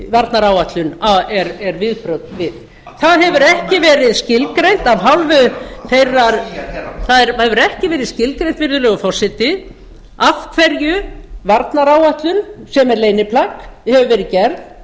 varnaráætlun er viðbrögð við það hefur ekki verið skilgreint af hálfu þeirrar það hefur ekki verið skilgreint virðulegur forseti af hverju varnaráætlun sem er leyniplagg hefur verið gerð